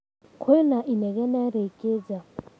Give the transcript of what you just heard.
kwĩ na inegene rĩĩngĩ nja.